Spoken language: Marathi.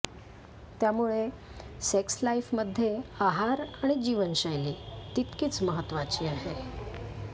त्यामुळे सेक्स लाईफमध्ये आहार आणि जीवनशैली तितकीच महत्त्वाची आहे